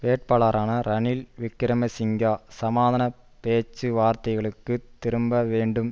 வேட்பாளரான ரனில் விக்கிரம சிங்க சமாதான பேச்சு வார்த்தைகளுக்கு திரும்ப வேண்டும்